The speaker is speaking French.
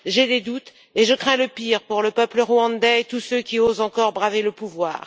J'ai des doutes et je crains le pire pour le peuple rwandais et tous ceux qui osent encore braver le pouvoir.